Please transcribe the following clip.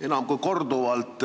Me oleme korduvalt